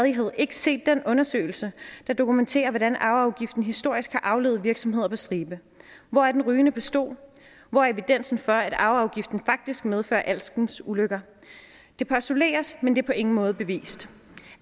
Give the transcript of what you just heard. endnu ikke set den undersøgelse der dokumenterer hvordan arveafgiften historisk har aflivet virksomheder på stribe hvor er den rygende pistol hvor er evidensen for at arveafgiften faktisk medfører alskens ulykker det postuleres men det er på ingen måde bevist